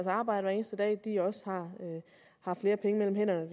arbejde hver eneste dag også har flere penge mellem hænderne